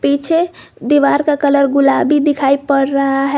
पीछे दीवार का कलर गुलाबी दिखाई पड़ रहा है।